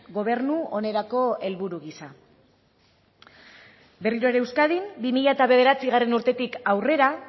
gobernu onerako helburu gisa berriro ere euskadin bi mila bederatzigarrena urterik aurrera